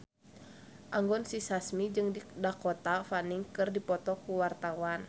Anggun C. Sasmi jeung Dakota Fanning keur dipoto ku wartawan